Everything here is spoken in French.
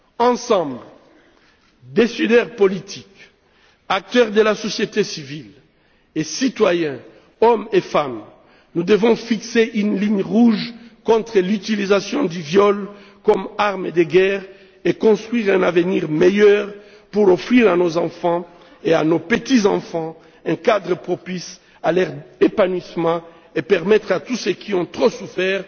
Ensemble, décideurs politiques, acteurs de la société civile et citoyens, hommes et femmes, nous devons fixer une ligne rouge contre l'utilisation du viol comme arme de guerre et construire un avenir meilleur pour offrir à nos enfants et à nos petits enfants un cadre propice à leur épanouissement, et permettre à tous ceux qui ont trop souffert